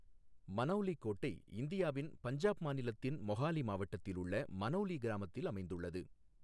மனௌலி கோட்டை இந்தியாவின் பஞ்சாப் மாநிலத்தின் மொஹாலி மாவட்டத்தில் உள்ள மனௌலி கிராமத்தில் அமைந்துள்ளது.